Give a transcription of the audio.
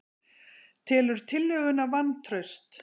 Telur tillöguna vantraust